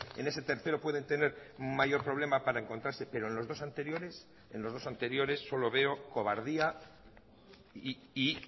en ese tercero pueden tener mayor problema para encontrarse pero en los dos anteriores en los dos anteriores solo veo cobardía y